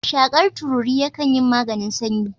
Shakar tururi yakan yin maganin sanyi